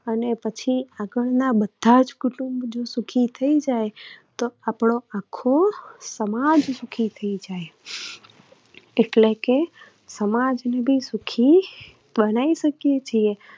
અને પછી આગળના બધા જ કુટુંબ જો સુખી થઇ જાય તો આપણો સમાજ સુખી થઇ જાય એટલે કે સમાજને પણ સુખી બનાવી શકીએ છીએ.